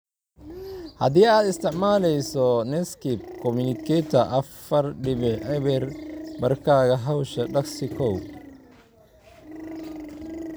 Haddii aad isticmaalayso Netscape Communicator afar dibic eber Barkaaga Hawsha, dhagsii: kow